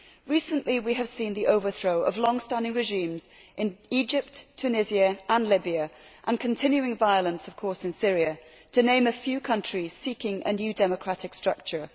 Recently we have seen the overthrow of long standing regimes in Egypt, Tunisia and Libya and continuing violence in Syria, to name a few countries seeking a new democratic structure.